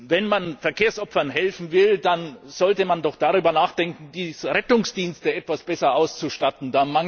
Wenn man Verkehrsopfern helfen will, dann sollte man doch darüber nachdenken, die Rettungsdienste etwas besser auszustatten.